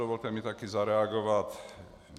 Dovolte mi taky zareagovat.